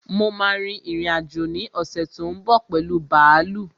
Mo ma rin ìrìn-àjò ní ọ̀ṣè tó ń bọ̀ pẹ̀lu bààlú